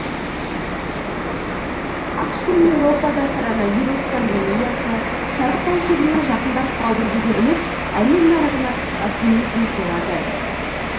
ақш пен еуропада коронавирус пандемиясы шарықтау шегіне жақындап қалды деген үміт әлем нарығына оптимизм сыйлады